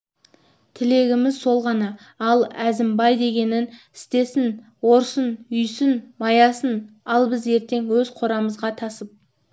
тілегіміз сол ғана ал әзімбай дегенін істесін орсын үйсін маясын ал біз ертең өз қорамызға тасып